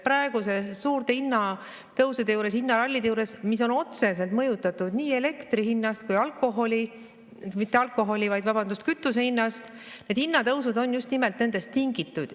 Praeguste suurte hinnatõusude juures, hinnaralli juures, mis on otseselt mõjutatud nii elektri hinnast kui ka kütuse hinnast, need hinnatõusud on just nimelt nendest tingitud.